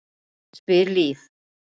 spyr Líf.